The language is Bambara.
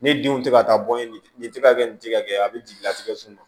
Ne denw tɛ ka taa bɔn ye nin tɛ ka kɛ nin tɛ ka kɛ a bɛ jigin a tɛgɛ sun ma